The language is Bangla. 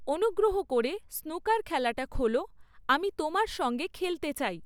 অনুগ্রহ করে স্নুকার খেলাটা খোলো, আমি তোমার সঙ্গে খেলতে চাই